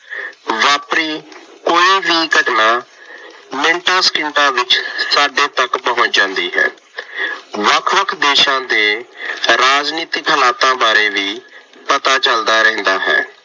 ਵਾਪਰੀ ਕੋਈ ਵੀ ਘਟਨਾ ਮਿੰਟਾਂ ਸਕਿੰਟਾਂ ਵਿੱਚ ਸਾਡੇ ਤੱਕ ਪਹੁੰਚ ਜਾਂਦੀ ਹੈ। ਵੱਖ ਵੱਖ ਦੇਸ਼ਾਂ ਦੇ ਰਾਜਨੀਤਿਕ ਹਲਾਤਾਂ ਬਾਰੇ ਵੀ ਪਤਾ ਚੱਲਦਾ ਰਹਿੰਦਾ ਹੈ।